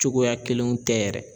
Cogoya kelenw tɛ yɛrɛ.